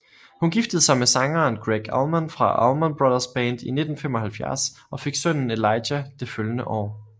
Hun giftede sig med sangeren Gregg Allman fra Allman Brothers Band i 1975 og fik sønnen Elijah det følgende år